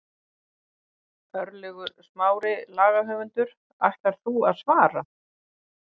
Örlygur Smári, lagahöfundur: Ætlar þú að svara?